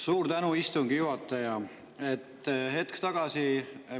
Suur tänu, istungi juhataja!